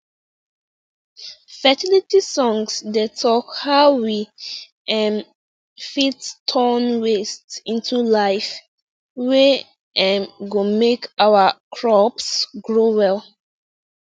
fertility songs dey talk how we um fit turn waste into life wey um go make our crops grow well